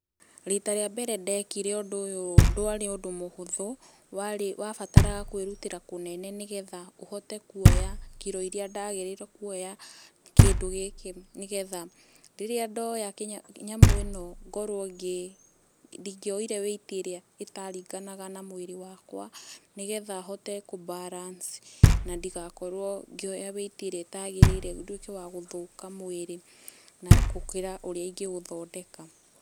Rita rĩa mbere ndekire ũndũ ũyũ ndwarĩ ũndũ mũhũthũ, warĩ, wabataraga kwĩrutĩra kũnene nĩgetha ũhote kuoya kiro iria ndagĩrĩirwo kuoya kĩndũ gĩkĩ nĩ getha, rĩrĩa ndoya nyamũ ĩno ngorwo, ndingĩoire weight ĩrĩa ĩtaringanaga na mwĩrĩ wakwa nĩgetha hote kũ balance na ndigakorwo ngĩoya weight ĩrĩa ĩtagĩrĩire nduĩke wa gũthũka mwĩrĩ gũkĩra ũrĩa ingĩũthondeka.